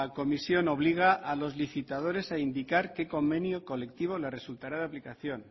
comisión obliga a los licitadores a indicar qué convenio colectivo le resultará de aplicación